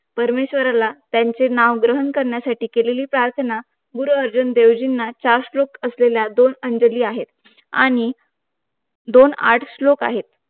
परमेश्वराला त्यांचे नाव ग्रहण करण्यासाठी केलेली प्रार्थना गुरुअर्जुन देव जिना चार श्लोक असलेल्या दोन अंजली आहे आणि दोन आठ श्लोक आहे त